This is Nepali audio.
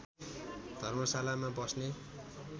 धर्मशालामा बस्ने